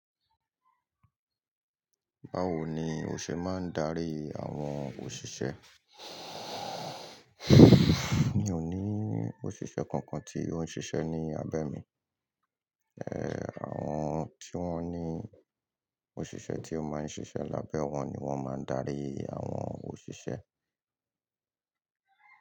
Báwo ni o ṣe máa ń darí àwọn òṣìṣẹ́? Mi ò ní òṣìṣẹ́ kankan tí ó ń ṣiṣẹ́ ní abẹ́ mi. Àwọn tí wọ́n ní òṣìṣẹ́ tí ó máa ń ṣiṣẹ́ lábẹ́ wọ́n ni wọ́n máa ń darí àwọn òṣìṣẹ́.